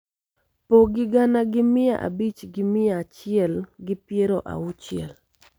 Pogi gana gi mia abich gi mia achiel gi piero auchiel